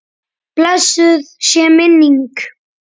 Blessuð sé minning frænku minnar.